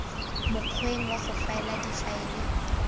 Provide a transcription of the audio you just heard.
mokgweng wa go faela difaele